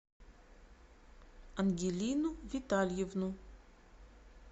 ангелину витальевну